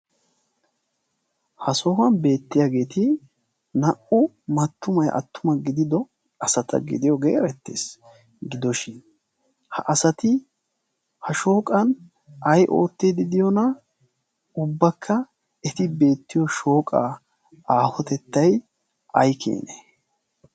Ha sohuwan beettiyageet naa"u attumayi mattuma gidido asata gidiyoge erettes. Gidoshin ha asati ha shooqan ayi oottiiddi de"iyonaa ubbakka eti beettiyo shooqaa. aahotettayi ay keenee.